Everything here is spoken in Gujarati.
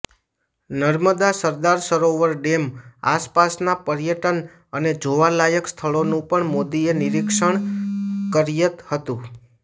નર્મદા સરદાર સરોવર ડેમ આસપાસના પર્યટન અને જોવાલાયક સ્થળોનું પણ મોદીએ નિરીક્ષણ કર્યંત હતું